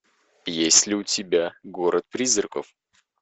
есть ли у тебя город призраков